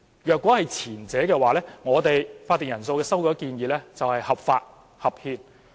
如果是前者，我們的會議法定人數修改建議便合法合憲。